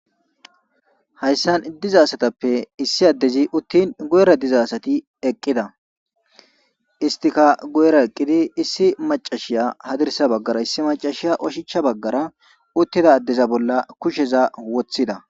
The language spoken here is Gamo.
Hayssan diza asatape issi adezi utin guyera diza asati eqida istika guyera eqidi issi macashiya hadirsa bagara issi macashiya ushachcha bagara utida adeza bola kusheza wothida.